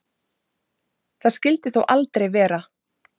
Það skyldi þó aldrei vera.